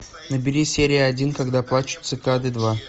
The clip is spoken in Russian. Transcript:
набери серия один когда плачут цикады два